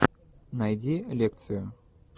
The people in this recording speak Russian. найди лекцию